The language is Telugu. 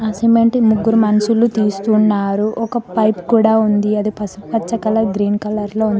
ఆ సిమెంట్ ను ముగ్గురు మనుషులు తీస్తున్నారు ఒక పైపు కూడా ఉంది అది పసుపు పచ్చ కలర్ గ్రీన్ కలర్ లో ఉం --